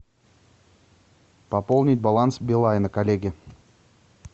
пополнить баланс билайна коллеге